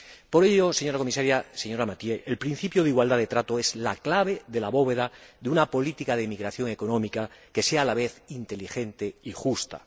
Por ello, señora Comisaria, señora Mathieu, el principio de igualdad de trato es la clave de la bóveda de una política de emigración económica que sea a la vez inteligente y justa.